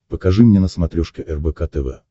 покажи мне на смотрешке рбк тв